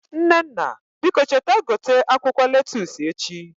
Nnenna biko cheta gote akwụkwọ lettusu echi